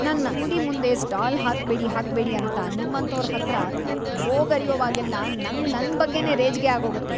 ನನ್ ಅಂಗ್ಡಿ ಮುಂದೆ ಸ್ಟಾಲ್ ಹಾಕ್ಬೇಡಿ ಹಾಕ್ಬೇಡಿ ಅಂತ ನಿಮ್ಮಂಥೋರ್‌ ಹತ್ರ ಗೋಗರ್ಯುವಾಗೆಲ್ಲ ನಂಗ್‌ ನನ್‌ ಬಗ್ಗೆನೇ ರೇಜಿಗೆ ಆಗೋಗತ್ತೆ.